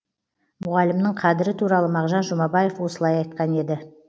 мұғалімнің қадірі туралы мағжан жұмабаев осылай айтқан еді